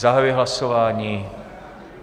Zahajuji hlasování.